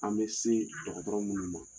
An bɛ se dɔgɔtɔrɔ minnu ma